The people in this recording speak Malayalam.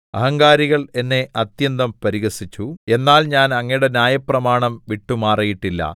അഹങ്കാരികൾ എന്നെ അത്യന്തം പരിഹസിച്ചു എന്നാൽ ഞാൻ അങ്ങയുടെ ന്യായപ്രമാണം വിട്ടുമാറിയിട്ടില്ല